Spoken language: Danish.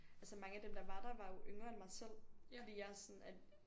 Altså mange af dem der var der var jo yngre end mig selv. Fordi jeg sådan at